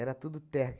Era tudo terra.